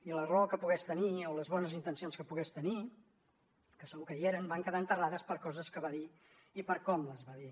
i la raó que pogués tenir o les bones intencions que pogués tenir que segur que hi eren van quedar enterrades per coses que va dir i per com les va dir